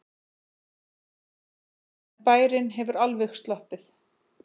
En bærinn hefur alveg sloppið.